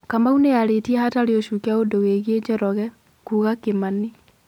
Kamau nĩ arĩtie hatarĩ ũcuke ũndũ wĩgĩe Njoroge, Kuga Kimani